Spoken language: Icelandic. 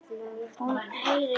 Hún heyrir í lóu.